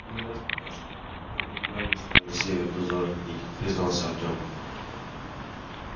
один раз пока что я только недавно стал на север в дозоры ходить признался артём